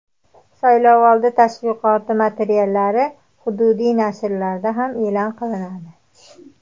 Saylovoldi tashviqoti materiallari hududiy nashrlarda ham e’lon qilinadi.